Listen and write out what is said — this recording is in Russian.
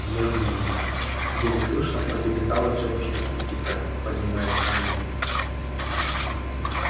я не могу еле слышно пролепетала тётушка питтипэт поднимаясь на ноги